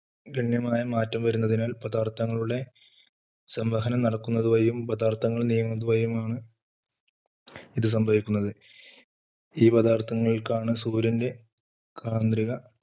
ഗണ്യമായ മാറ്റം വരുന്നതിനാൽ പദാർത്ഥങ്ങളുടെ സംവഹനം നടക്കുന്നത് വഴിയും പദാർത്ഥങ്ങൾ നീങ്ങുന്നത് വഴിയുമാണ് ഇത് സംഭവിക്കുന്നത്. ഈ പദാർത്ഥങ്ങൾക്കാണ് സൂര്യൻറെ കാന്ത്രിക